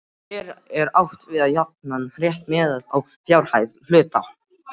Hér er átt við jafnan rétt miðað við fjárhæð hluta.